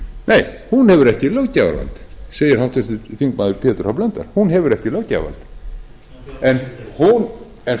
nei hún hefur ekki löggjafarvald segir háttvirtur þingmaður pétur h blöndal hún hefur ekki löggjafarvald en